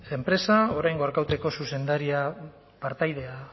enpresa oraingo arkautiko zuzendaria partaidea